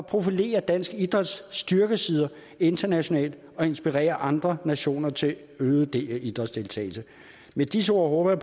profilere dansk idræts styrkesider internationalt og inspirere andre nationer til øget idrætsdeltagelse med disse ord håber